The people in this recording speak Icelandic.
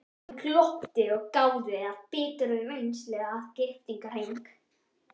Hann glotti og gáði af biturri reynslu að giftingarhring.